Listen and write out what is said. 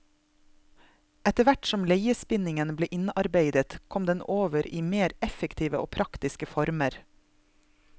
Etter hvert som leiespinningen ble innarbeidet, kom den over i mer effektive og praktiske former.